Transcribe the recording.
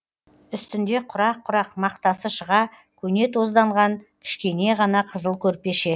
үстінде құрақ құрақ мақтасы шыға көне тозданған кішкене ғана қызыл көрпеше